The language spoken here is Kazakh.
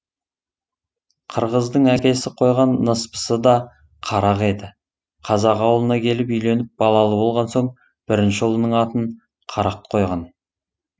қырғыздың әкесі қойған ныспысы да қарақ еді қазақ ауылына келіп үйленіп балалы болған соң бірінші ұлының атын қарақ қойған